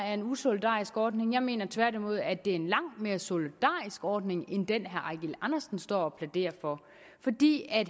er en usolidarisk ordning jeg mener tværtimod at det er en langt mere solidarisk ordning end den herre eigil andersen står og plæderer for fordi